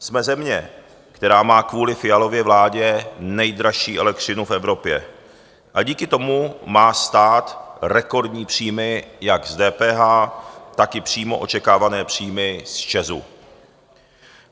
Jsme země, která má kvůli Fialově vládě nejdražší elektřinu v Evropě a díky tomu má stát rekordní příjmy jak z DPH, tak i přímo očekávané příjmy z ČEZu.